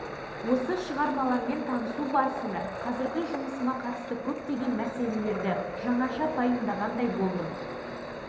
қазақстанның қазіргі дамуы америкамен салыстырғанда жүз жылға кешеуілдеп қалғанын мен теодор драйзердің кітаптарын оқығанда